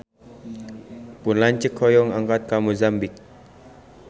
Pun lanceuk hoyong angkat ka Mozambik